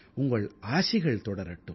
உங்கள் ஆசிகள் தொடரட்டும்